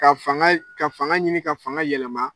Ka fanga ka fanga ɲini ka fanga yɛlɛma